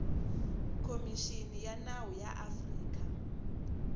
khomixini ya nawu ya afrika